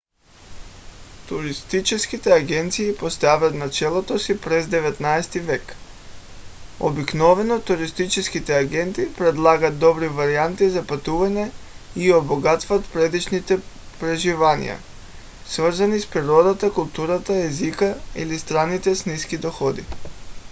туристическите агенции поставят началото си през 19-ти век. обикновено туристическите агенти предлагат добри варианти за пътуване и обогатяват предишните преживявания свързани с природата културата езика или страните с ниски доходи